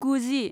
गुजि